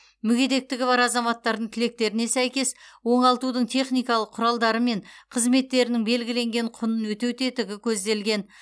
мүгедектігі бар азаматтардың тілектеріне сәйкес оңалтудың техникалық құралдары мен қызметтерінің белгіленген құнын өтеу тетігі көзделген